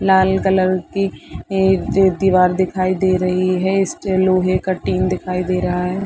लाल colour की जो दीवार दिखाई दे रही है इस पर लोहै का टीन दिखाई दे रहा है।